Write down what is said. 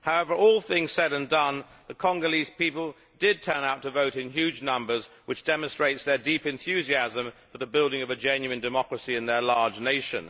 However, all things said and done, the Congolese people did turn out to vote in huge numbers, which demonstrates their deep enthusiasm for the building of a genuine democracy in their large nation.